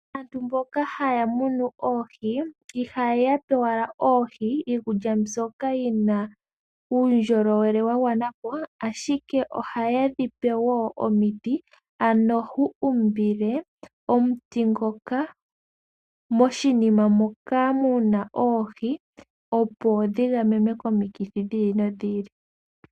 Aantu mboka haya muno oohi, ihaya pe owala oohi iikulya mbyoka yi na uundjolowele wa gwana po, ashike ohaye dhi pe wo omiti, ano ho umbile omuti ngoka moshinima moka mu na oohi, opo dhi gamenwe komikithi dhi ili nodhi ili.